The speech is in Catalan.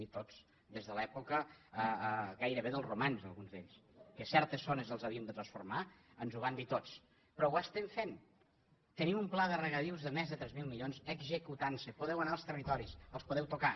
sí tots des de l’època gairebé dels romans alguns d’ells que certes zones les havíem de transformar ens ho van dir tots però ho estem fent tenim un pla de regadius de més de tres mil milions executant se podeu anar als territoris els podeu tocar